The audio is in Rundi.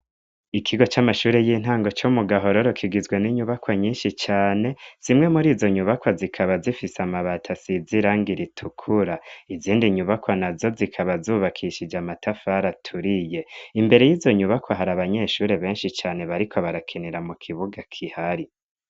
Ikigo c'amashure y'intango co mu gahororo kigizwe n'inyubakwa nyinshi cane, zimwe muri izo nyubakwa zikaba zifise amabati asize irangi ritukura, izindi nyubakwa na zo zikaba zubakishije amatafara aturiye. Imbere y'izo nyubakwa hari abanyeshuri benshi cane bariko barakinira mu kibuga gihari.